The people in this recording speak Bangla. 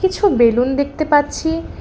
কিছু বেলুন দেখতে পাচ্ছি।